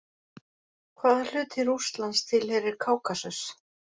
Hvaða hluti Rússlands tilheyrir Kákasus?